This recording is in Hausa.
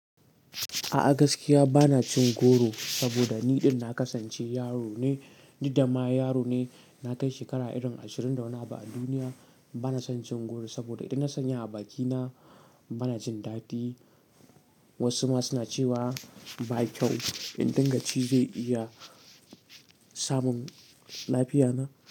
A'a gaskiya bana cin goro saboda ni ɗin na kasance yaro ne, ni dama yaro ne. Na kai shekara irin ashirin da wani abu a duniya. Bana son cin goro saboda idan na sanya a bakina bana jin daɗi. Wasu ma suna cewa ba kyau. Indan ka ci zai iya samun lafiya na.